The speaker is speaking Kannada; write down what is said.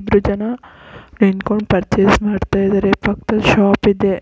ಇಬ್ರ ಜನ ನಿಂತ್ಕೊಂಡ್ ಪರ್ಚೆಸ್ ಮಾಡ್ತಾ ಇದ್ದಾರೆ ಪಕ್ಕದಲ್ಲಿ ಶಾಪ್ ಇದೆ